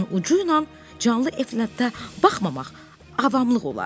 Gözünün ucu ilə canlı Eflanta baxmamaq avamlıq olardı.